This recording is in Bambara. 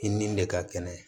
I ni de ka kɛnɛ